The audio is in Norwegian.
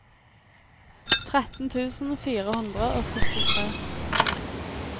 tretten tusen fire hundre og syttitre